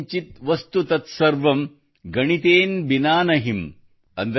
ಯತ್ ಕಿಂಚಿತ್ ವಸ್ತು ತತ್ ಸರ್ವಂ ಗಣಿತೇನ ಬಿನಾ ನಹಿಂ